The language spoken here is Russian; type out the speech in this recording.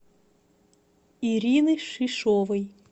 ирины шишовой